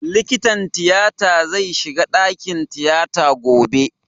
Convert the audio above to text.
Likitan tiyata zai shiga ɗakin tiyata gobe